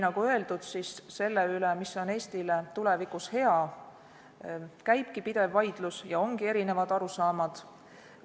Nagu ütlesin, selle üle, mis on Eestile tulevikus hea, käibki pidev vaidlus ja siin ongi erinevad arusaamad.